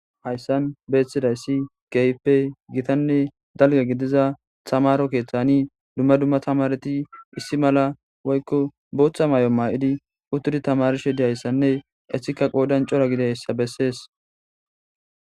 Haysan beetizaysi keehippe gitanne dalga gidiza tamaro keethani dumma dumma tamareti issi mala woyko bootha mayo mayidi uttidi tamarishe dizaysanne eetika qoodan cora gididaysa bessees.